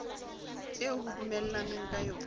eo ho dumellanweng ka yona